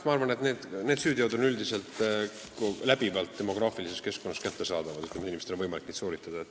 Ma arvan, et need süüteod on üldiselt demograafilises keskkonnas läbivalt kättesaadavad, inimestel on võimalik neid sooritada.